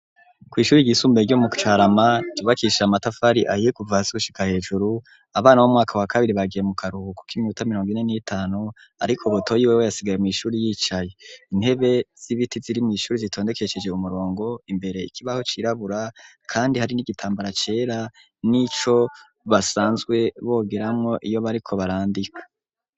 Kw'ishure ry'isumbuye ryo mu Carama ryubakishijwe matafari ahiye kuva hasi gushika hejuru abana b'umwaka wa kabiri bagiye mu karuhuko k'iminota miriongo ine n'itanu ariko butoyi wewe yasigaye mw'ishure yicaye intebe z'ibiti ziri mw'ishure zitondekesheje umurongo imbere ikibaho cirabura kandi hari n'igitambara cera n'ico basanzwe bogeramwo iyo bariko barandika.